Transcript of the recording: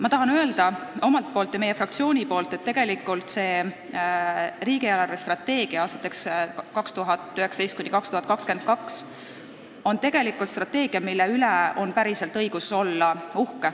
Ma tahan öelda enda ja meie fraktsiooni nimel, et aastateks 2019–2022 koostatud riigi eelarvestrateegia üle on õigus päriselt uhke olla.